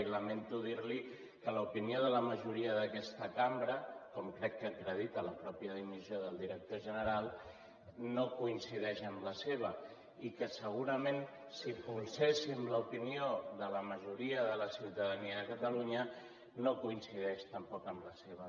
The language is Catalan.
i lamento dir li que l’opinió de la majoria d’aquesta cambra com crec que acredita la mateixa dimissió del director general no coincideix amb la seva i que segurament si polséssim l’opinió de la majoria de la ciutadania de catalunya no coincideix tampoc amb la seva